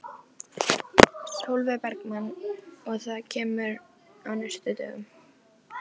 Sólveig Bergmann: Og það kemur á næstu dögum?